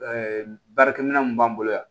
baarakɛminɛn mun b'an bolo yan